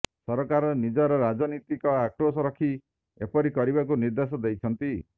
ସରକାର ନିଜର ରାଜନୀତିକ ଆକ୍ରୋଶ ରଖି ଏପରି କରିବାକୁ ନିର୍ଦ୍ଦେଶ ଦେଇଛନ୍ତି